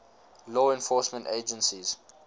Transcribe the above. law enforcement agencies